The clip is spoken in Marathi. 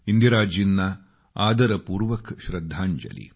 इंदिराजींना आदरपूर्वक श्रद्धांजली